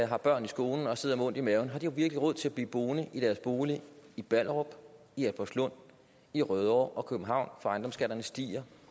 har børn i skolen og sidder med ondt i maven har de virkelig råd til at blive boende i deres bolig i ballerup i albertslund i rødovre og københavn når ejendomsskatterne stiger